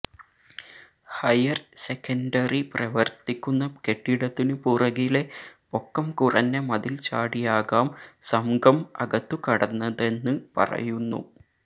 higher secondary പ്രവര്ത്തിക്കുന്ന കെട്ടിടത്തിനു പുറകിലെ പൊക്കംകുറഞ്ഞ മതില്ചാടിയാകാം സംഘം അകത്തു കടന്നതെന്ന് പറയുന്നു